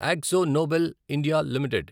Akzo Nobel India limited